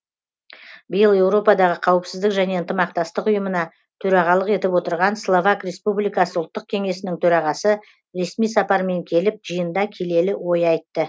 биыл еуропадағы қауіпсіздік және ынтымақтастық ұйымына төрағалық етіп отырған словак республикасы ұлттық кеңесінің төрағасы ресми сапармен келіп жиында келелі ой айтты